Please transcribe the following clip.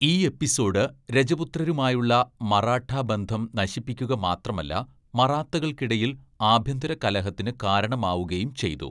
ഈ എപ്പിസോഡ് രജപുത്രരുമായുള്ള മറാഠാ ബന്ധം നശിപ്പിക്കുക മാത്രമല്ല മറാത്തകൾക്കിടയിൽ ആഭ്യന്തര കലഹത്തിന് കാരണമാവുകയും ചെയ്തു.